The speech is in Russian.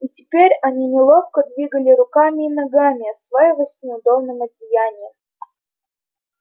и теперь они неловко двигали руками и ногами осваиваясь с неудобным одеянием